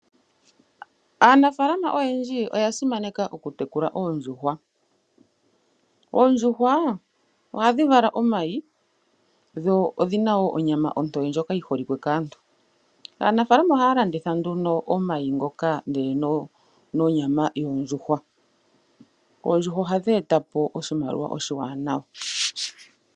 Aanafaalama oyendji oya simaneka oku tekula oondjuhwa. Oondjuhwa ohadhi vala omayi dho odhina woo onyama ontoye ndjoka yi holike kaantu. Aanafaalama ohaya landitha nduno omayi ngoka ndele nonyama yondjuhwa . Oondjuhwa ohadhi etapo oshimaliwa oshiwanawa